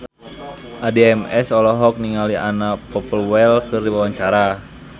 Addie MS olohok ningali Anna Popplewell keur diwawancara